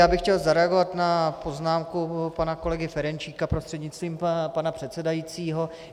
Já bych chtěl zareagovat na poznámku pana kolegy Ferjenčíka prostřednictvím pana předsedajícího.